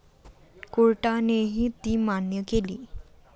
कोर्टानेही ती मान्य केली.